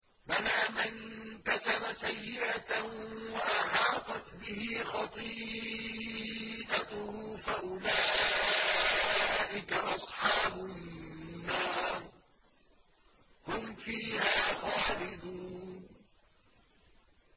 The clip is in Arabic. بَلَىٰ مَن كَسَبَ سَيِّئَةً وَأَحَاطَتْ بِهِ خَطِيئَتُهُ فَأُولَٰئِكَ أَصْحَابُ النَّارِ ۖ هُمْ فِيهَا خَالِدُونَ